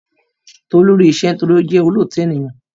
Tolú rí iṣẹ́ nítorí wípé ó jẹ́ olóòótọ ènìyàn